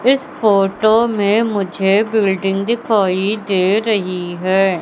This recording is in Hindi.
इस फोटो में मुझे बिल्डिंग दिखाई दे रही है।